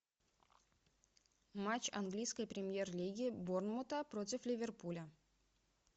матч английской премьер лиги борнмута против ливерпуля